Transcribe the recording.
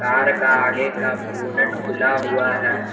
Car का आगे का बोनट खुला हुआ है।